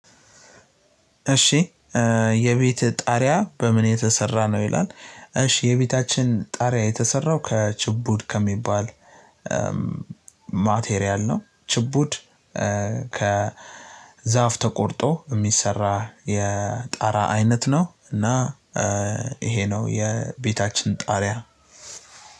እሺ የቤት ጣሪያ በምን የተሰራ ነው ይላል? እሺ የቤታችን ጣሪያ የተሰራው ከችቡድ ከሚባል ማቴሪያል ነው። ችቡድ ከዛፍ ተቆርጦ የሚሰራ የጣራ አይነት ነው። እና ይሄ ነው የቤታችን ጣሪያ።